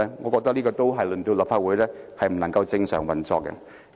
我覺得這樣令立法會不能正常運作。